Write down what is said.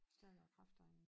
Stærkere kræfter end